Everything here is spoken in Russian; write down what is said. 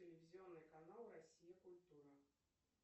телевизионный канал россия культура